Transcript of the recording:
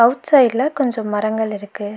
Out சைடுல கொஞ்ஜோ மரங்கள் இருக்கு.